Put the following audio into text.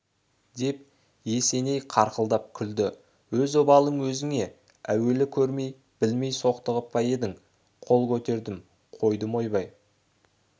деп есеней қарқылдап күлді өз обалың өзіңе әуелі көрмей білмей соқтығып па едің қол көтердім қойдым ойбай